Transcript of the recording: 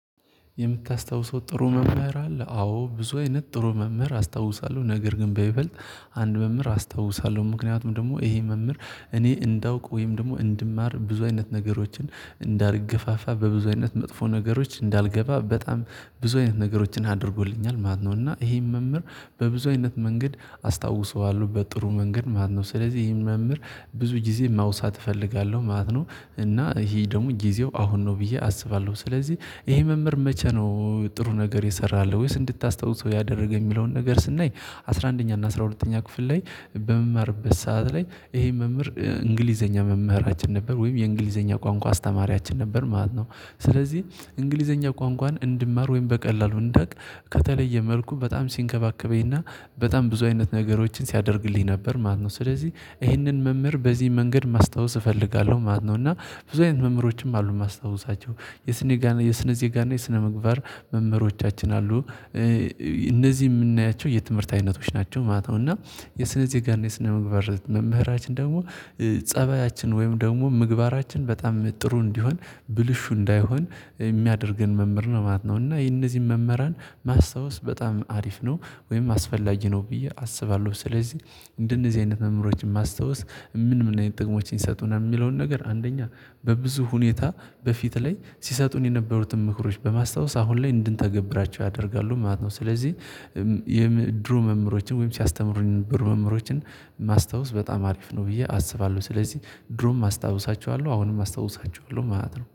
የምታስታውሰው ጥሩ መምህር አለ አዎ ብዙ አይነት ጥሩ መምህር አስታውሳለሁ ነገር ግን በይበልጥ አንድ መምህር አስታውሳለሁ ምክንያቱም ደግሞ ይሄ መምህር እኔ እንዳውቅ ወይም ደግሞ እንድማር ብዙ አይነት ነገሮችን እንዳርገፋፋ በብዙ አይነት መጥፎ ነገሮች እንዳልገባ በጣም ብዙ አይነት ነገሮችን አድርጎልኛል ማለት ነው እና ይሄን መምህር በብዙ አይነት መንገድ አስታውሰዋለሁ በጥሩ መንገድ ማለት ነው ስለዚህ ይህን መምህር ብዙ ጊዜ ማውሳት እፈልጋለሁ ማለት ነው እና ይሄ ደግሞ ጊዜው አሁን ነው ብዬ አስባለሁ ስለዚህ ይሄ መምህር መቼ ነው ጥሩ ነገር የሰራልህ ወይስ እንድታስታውሰው ያደረገ የሚለውን ነገር ስናይ አስራ አንደኛ እና አስራ ሁለተኛ ክፍል ላይ በመማርበት ሰዓት ላይ ይሄ መምህር እንግሊዘኛ መምህራችን ነበረ ወይም የእንግሊዘኛ ቋንቋ አስተማሪያችን ነበረ ማለት ነው። ስለዚህ እንግሊዘኛ ቋንቋን እንድማር ወይም በቀላሉ እንዳውቅ ከተለየ መልኩ በጣም ሲንከባከበኝና በጣም ብዙ አይነት ነገሮችን ሲያደርግልኝ ነበረ ማለት ነው ስለዚህ ይህንን መምህር በዚህ መንገድ ማስታወስ እፈልጋለሁ ማለት ነው እና ብዙ አይነት መምህሮችም አሉ ማስታወሳቸው የስነ የስነ ዜጋ እና የስነ ምግባር መምህሮቻችን አሉ እነዚህ ምናያቸው የትምህርት አይነቶች ናቸው ማለት ነው እና የስነዜጋና ጋር የስነምግባር መምህራችን ደግሞ ጸባያችን ወይም ደግሞ ምግባራችን በጣም ጥሩ እንዲሆን ብልሹ እንዳይሆን ሚያደርገን መምህር ነው ማለት ነው እና የነዚህን መምህራን ማስታወስ በጣም አሪፍ ነው ወይም አስፈላጊ ነው ብዬ አስባለሁ ስለዚህ እንደነዚህ አይነት መምህሮችን ማስታወስ ምን ምን አይነት ጥቅሞችን ይሰጡናል የሚለውን ነገር አንደኛ በብዙ ሁኔታ በፊት ላይ ስሰጡን የነበሩትን ምክሮች በማስታወስ አሁን ላይ እንድንተገብራቸው ያደርጋሉ ማለት ነው ስለዚህ የምድሩ መምህሮችን ወይም ሲያስተምሩኝ የነበሩ መምህሮችን ማስታወስ በጣም አሪፍ ነው ብዬ አስባለሁ ስለዚህ ድሮም አስታውሳቸዋለሁ አሁንም አስታውሳቸዋለሁ ማለት ነው